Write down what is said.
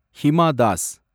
Hima Das